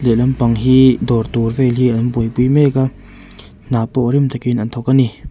leh lampang hi dâwr tûr vêlin an buaipui mêk a hna pawh rim takin an thawk a ni.